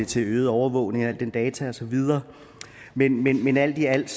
til øget overvågning af al den data og så videre men men alt i alt